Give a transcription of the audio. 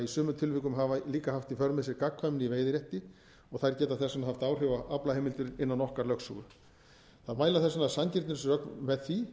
í sumum tilvikum hafa líka haft í för með sér gagnkvæmni í veiðirétti og þær geta þess vegna haft áhrif á aflaheimildir innan okkar lögsögu það mæla þess vegna sanngirnisrök með því